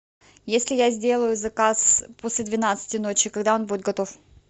если я сделаю заказ после двенадцати ночи когда он будет готов